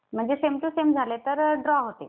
म्हणजे same to same झाले तर ड्रॉ होते.